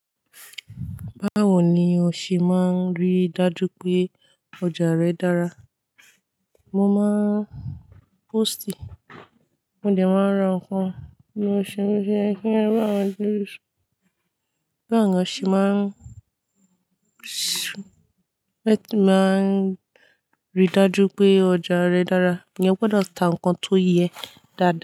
Báwo ni o ṣe máa ń rí dájú pé ọjà rẹ dára? Mo máa ń póòstì, mo dẹ̀ máa ń ra nǹkan inú ọṣẹ, mo sì ṣe kí ẹgbẹ́ àwọn news. Báwo ni o ṣe máa ń ṣẹ máa ń rí dájú pé ọ̀jà rẹ dára? Eeyan gbọdọ̀ ta nǹkan tó yẹ dáadáa.